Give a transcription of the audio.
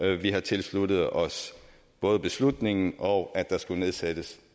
at vi har tilsluttet os både beslutningen og at der skulle nedsættes